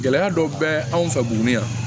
Gɛlɛya dɔ bɛ anw fɛ buguni yan